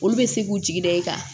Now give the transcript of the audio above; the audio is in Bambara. Olu bɛ se k'u jigi da i kan